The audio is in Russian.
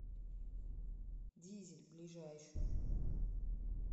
дизель ближайший